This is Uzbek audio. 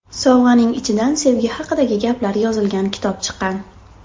Sovg‘aning ichidan sevgi haqidagi gaplar yozilgan kitob chiqqan.